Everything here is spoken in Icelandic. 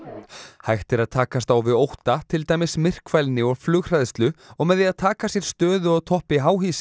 hægt er að takast á við ótta til dæmis myrkfælni og flughræðslu og með því að taka sér stöðu á toppi